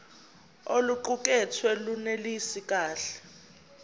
oluqukethwe lunelisi kahle